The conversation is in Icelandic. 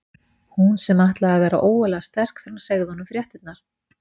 Hún sem ætlaði að vera ógurlega sterk þegar hún segði honum fréttirnar.